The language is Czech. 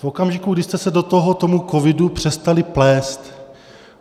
V okamžiku, kdy jste se do toho tomu covidu přestali plést.